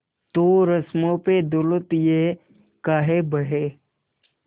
तो रस्मों पे दौलत ये काहे बहे